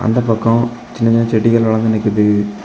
இந்த பக்கம் சின்ன செடிகலெல்லா நிக்குது.